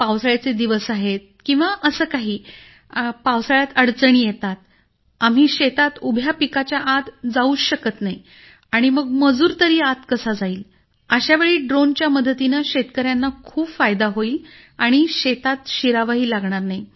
पावसाळ्याचे दिवस आहेत किंवा असं काही पावसाळ्यात अडचणी येतात आम्ही शेतात उभ्या पिकाच्या आत जाऊच शकत नाही तर मग मजूर तरी कसा आत जाईल अशा वेळी ड्रोनच्या मदतीने शेतकऱ्यांना खूप फायदा होईल आणि शेतात शिरावंही लागणार नाही